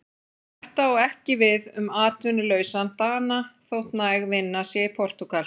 Þetta á ekki við um atvinnulausan Dana, þótt næg vinna sé í Portúgal.